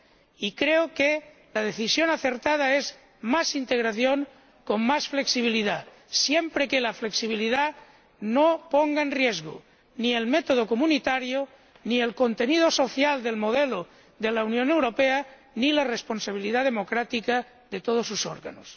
Y creo que la decisión acertada es más integración con más flexibilidad, siempre que la flexibilidad no ponga en riesgo ni el método comunitario, ni el contenido social del modelo de la Unión Europea, ni la responsabilidad democrática de todos sus órganos.